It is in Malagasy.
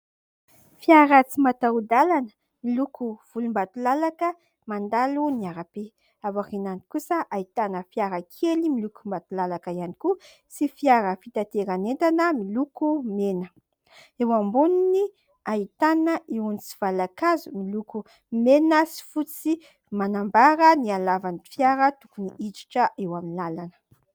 Fiara tsy mataho-dalana miloko volombatolalaka, mandalo ny arabe ; ary aorinany kosa ahitana fiara kely miloko volombatolalaka ihany koa, sy fiara fitateran'entana miloko mena. Eo amboniny ahitana irony tsivalan-kazo miloko mena sy fotsy, manambara ny halavan'ny fiara tokony hiditra eo amin'ny lalana.